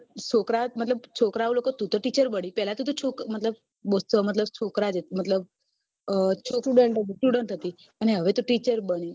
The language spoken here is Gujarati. છોકરા મતલબ તુ તો teacher બની પેલા તુ તો મતલબ student હતી હવે તુ teacher બની